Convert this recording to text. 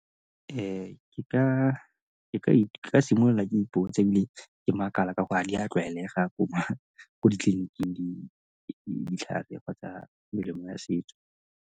ke ka simolola ke ipotsa ebile ke makala ka gore ga di a tlwaelega gore ko ditleliniking ditlhare kgotsa melemo ya setso.